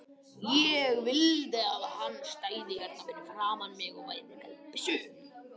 Ég vildi að hann stæði hérna fyrir framan mig og ég væri með byssu.